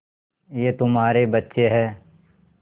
ये तुम्हारे बच्चे हैं